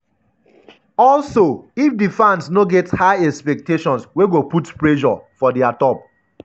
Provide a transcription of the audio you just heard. “also if di fans no go get high expectations wey go put pressure for dia top.”